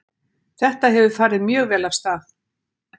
Þetta hefur farið mjög vel af stað.